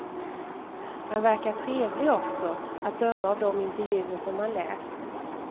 Han verkar trevlig också, att döma av de intervjuer som man läst.